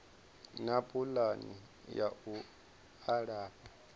na pulani ya u alafha